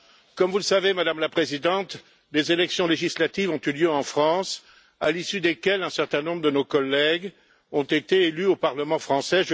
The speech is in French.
Comme vous le savez, Madame la Présidente, des élections législatives ont eu lieu en France, à l'issue desquelles un certain nombre de nos collègues ont été élus au Parlement français.